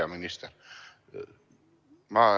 Hea minister!